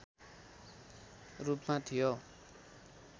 रूपमा थियो